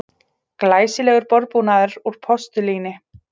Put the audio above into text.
Glæsilegur borðbúnaður úr postulíni